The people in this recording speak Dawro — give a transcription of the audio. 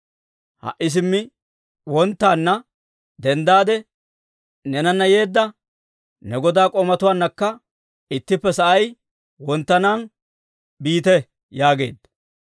Ha"i simmi wonttaanna denddaade, neenanna yeedda ne godaa k'oomatuwaannakka ittippe sa'ay wonttiyaa wode biite» yaageedda.